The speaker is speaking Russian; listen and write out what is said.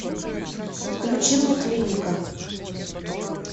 включи мне клиника